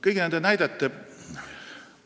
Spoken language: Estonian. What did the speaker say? Kõigi nende näidete kõrval ...